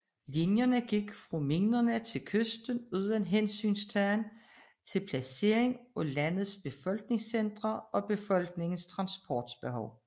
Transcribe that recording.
Linjerne gik fra minerne til kysten uden hensyntagen til placeringen af landets befolkningscentre og befolkningens transportbehov